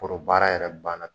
Poro baara yɛrɛ banna.